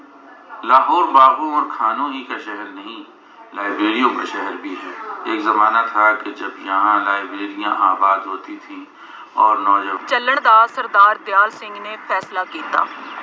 ਲਾਹੌਰ ਬਾਗੋ ਅੋਰ ਖਾਨੋ ਕਾ ਸ਼ਹਿਰ ਨਹੀਂ, ਲਾਈਬ੍ਰੇਰੀਉਂ ਕਾ ਸ਼ਹਿਰ ਵੀ ਹੈ, ਏਕ ਜ਼ਮਾਨਾ ਥਾਂ ਕਿ ਜਬ ਯਹਾਂ ਲਾਈਬ੍ਰੇਰੀਆਂ ਆਬਾਦ ਹੋਤੀ ਥੀ, ਅੋਰ ਨੌਜਵਾਨ, ਚੱਲਣ ਦਾ ਸਰਦਾਰ ਦਿਆਲ ਸਿੰਘ ਨੇ ਫੈਸਲਾ ਕੀਤਾ।